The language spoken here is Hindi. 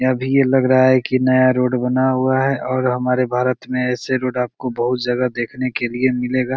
अभी ये लग रहा है की ये नया रोड बना हुआ है और हमारे भारत में ऐसे रोड आपको बहुत जगह देखने के लिए मिलेगा।